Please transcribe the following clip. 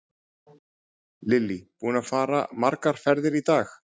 Lillý: Búinn að fara margar ferðir í dag?